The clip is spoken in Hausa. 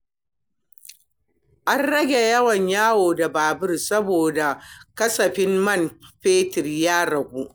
An rage yawan yawo da babur saboda kasafin man fetur ya ragu.